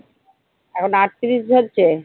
এখন আটত্রিশ হচ্ছে?